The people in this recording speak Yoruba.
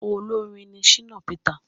Olórin ní Shina Peter